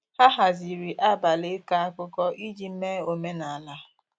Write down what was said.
ha haziri abali iko akụkọ iji mee omenala.